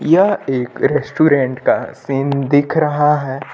यह एक रेस्टोरेंट का सीन दिख रहा है।